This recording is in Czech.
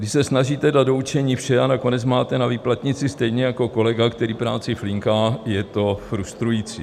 Když se snažíte dát do učení vše a nakonec máte na výplatnici stejně jako kolega, který práci flinká, je to frustrující.